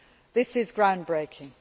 This is ground breaking.